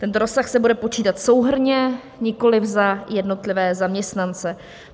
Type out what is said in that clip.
Ten rozsah se bude počítat souhrnně, nikoli za jednotlivé zaměstnance.